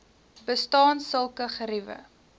bestaan sulke geriewe